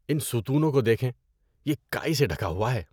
ان ستونوں کو دیکھیں۔ یہ کائی سے ڈھکا ہوا ہے۔